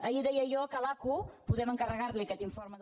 ahir deia jo que a l’acu podem encarregar·li aquest in·forme del